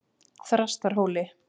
Þrastarhóli